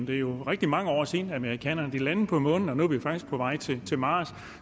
det er rigtig mange år siden amerikanerne landede på månen og nu er vi faktisk på vej til til mars